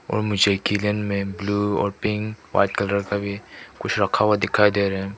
और मुझे किलन मे ब्लू और पिंक व्हाइट कलर का भी कुछ रखा हुआ दिखाई दे रहा है।